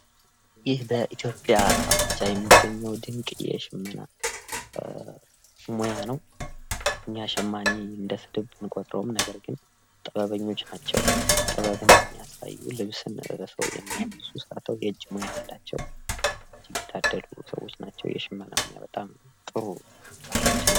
ይህ በኢትዮጵያ ብቻ የሚገኘው ድንቅ የሸመና ስራ ሙያ ነው። እኛ ሸማኔን እንደስድብ ብንቆጥረውም ነገር ግን ጥበበኞች ናቸው። ጥበብን የሚያሳዩ፤ ልብስን የሚሰሩ፤ የእጅ ሙያ ያላቸው፤ የታደሉ ሰዎች ናቸው። የሸማና ስራ በጣም ጥሩ ባህላችን ነው።